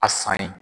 A san ye